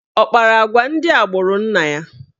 Ọ kpara agwa ndị agbụrụ nna ya?